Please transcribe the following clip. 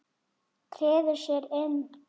Treður sér inn.